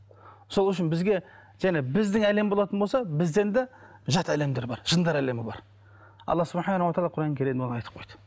сол үшін бізге жаңа біздің әлем болатын болса бізден де жат әлемдер бар жындар әлемі бар алла оны құран кәрімде оны айтып қойды